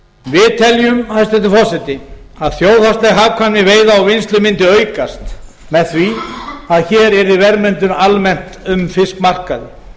við teljum hæstvirtur forseti að þjóðhagsleg hagkvæmni veiða og vinnslu mundi aukast með því að hér yrði verðmyndun almennt um